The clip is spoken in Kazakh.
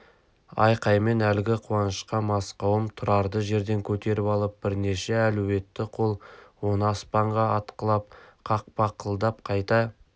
айқаймен әлгі қуанышқа мас қауым тұрарды жерден көтеріп алып бірнеше әлуетті қол оны аспанға атқылап қақпақылдап қайта